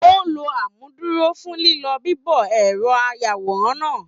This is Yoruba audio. O ló amúduró fún lilọ bibọ ẹrọ ayàwòrán náà.